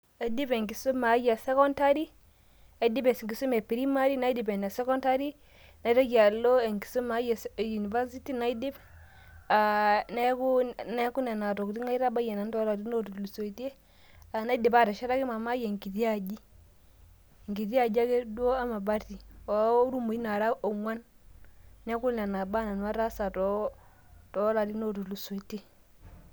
Aidipa enkisuma aai esekondari, aidipa enkisuma ee primary naidip ene sekondary naitoki alo enkisuma aai e university aaah neaku nono tokitin nanu aitabayie ,naidipa ateshetaki mamaai enkiti aaji enkiti aji ake duo emabati nara onguan, neaku noba baa ataasa tolarin otulusoitie